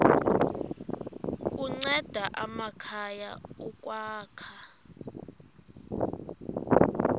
kunceda amakhaya ukwakha